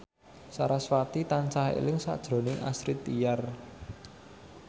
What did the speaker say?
sarasvati tansah eling sakjroning Astrid Tiar